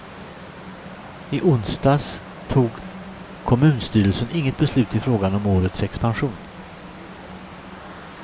I onsdags tog kommunstyrelsen inget beslut i frågan om årets expansion.